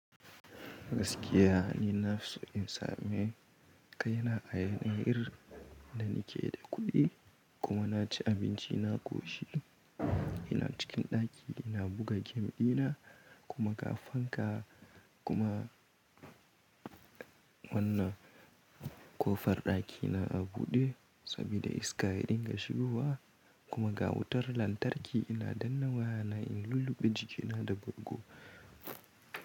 Gaskiya ni na fiso in samu kai na a yanayi irin da ni ke da kuɗi kuma na ci abinci na ƙoshi ina cikin ɗaki ina buga game ɗina kuma ga fanka kuma wannan ko far ɗaki na a buɗe sabida iska din ga shigowa kuma ga wutar lantarki ina danna waya na in lulluɓe jiki na da bargo.